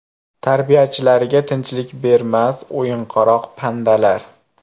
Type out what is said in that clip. Tarbiyachilariga tinchlik bermas o‘yinqaroq pandalar.